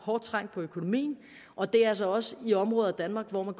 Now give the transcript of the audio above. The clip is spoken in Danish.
hårdt trængt og det er altså også i områder af danmark hvor man